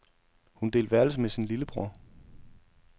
Hun delte værelse med sin lillebror.